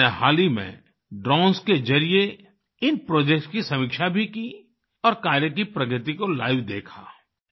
मैंने हाल ही में ड्रोन्स के जरिए इन प्रोजेक्ट्स की समीक्षा भी की और कार्य की प्रगति को लाइव देखा